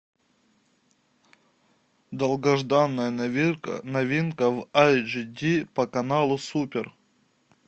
долгожданная новинка в эйч ди по каналу супер